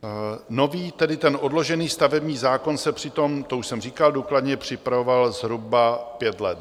Nový, tedy ten odložený stavební zákon se přitom - to už jsem říkal - důkladně připravoval zhruba pět let.